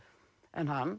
en hann